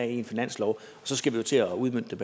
i en finanslov og så skal vi jo til at udmønte